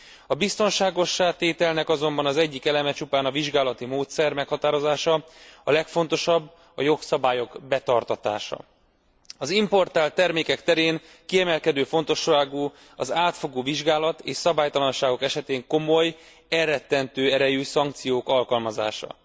A biztonságossá tételnek azonban az egyik eleme csupán a vizsgálati módszer meghatározása, a legfontosabb a jogszabályok betartatása. Az importált termékek terén kiemelkedő fontosságú az átfogó vizsgálat, és szabálytalanságok esetén komoly elrettentő erejű szankciók alkalmazása.